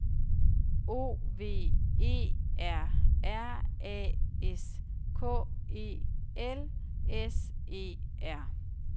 O V E R R A S K E L S E R